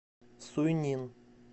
суйнин